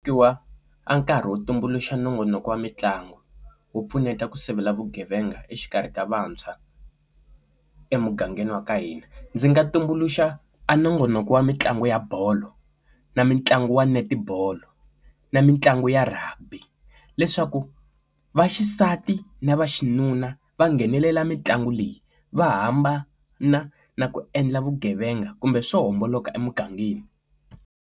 Khiwa a nkarhi wo tumbuluxa nongonoko wa mitlangu wu pfuneta ku sivela vugevenga exikarhi ka vantshwa emugangeni wa ka hina ndzi nga tumbuluxa a nongonoko wa mitlangu ya bolo na mitlangu wa netibolo na mitlangu ya Rugby leswaku vaxisati na vaxinuna va nghenelela mitlangu leyi va hamba na na ku endla vugevenga kumbe swo homboloka emugangeni.